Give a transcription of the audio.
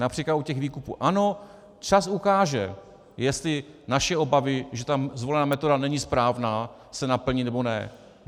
Například u těch výkupů - ano, čas ukáže, jestli naše obavy, že ta zvolená metoda není správná, se naplní, nebo ne.